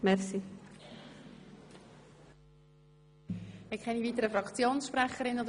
Es gibt keine weiteren Fraktionsmeldungen.